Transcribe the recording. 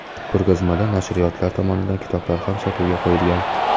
Ko‘rgazmada nashriyotlar tomonidan kitoblar ham sotuvga qo‘yilgan.